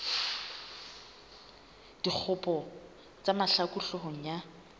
dikgopo tsa mahlaku hloohong ya